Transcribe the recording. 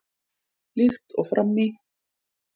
Líkt og fram í